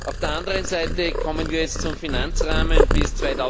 Auf der anderen Seite kommen wir jetzt zum Finanzrahmen bis